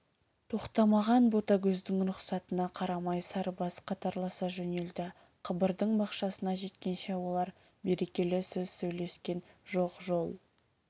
тоқтамаған ботагөздің рұқсатына қарамай сарыбас қатарласа жөнелді қабырдың бақшасына жеткенше олар берекелі сөз сөйлескен жоқ жол